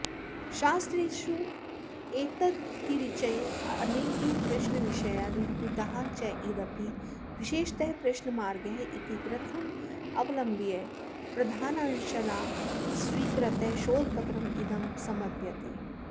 शास्त्रेषु एतदतिरिच्य अनेके प्रश्नविषयाः निरूपिताः चेदपि विशेषतः प्रश्नमार्गः इति ग्रन्थमवलंब्य प्रधानांशान् स्वीकृत्य शोधपत्रमिदं समर्प्यते